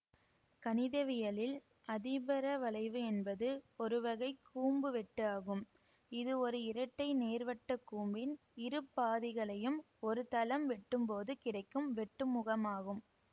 கணிதவியலில் அதிபரவளைவு என்பது ஒருவகை கூம்பு வெட்டு ஆகும் இது ஒரு இரட்டை நேர்வட்டக் கூம்பின் இரு பாதிகளையும் ஒரு தளம் வெட்டும்போது கிடைக்கும் வெட்டுமுகமாகும்